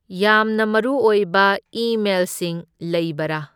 ꯌꯥꯝꯅ ꯃꯔꯨꯑꯣꯏꯕ ꯏ ꯃꯦꯜꯁꯤꯡ ꯂꯩꯕꯔꯥ?